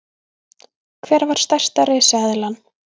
Hver var stærsta risaeðlan?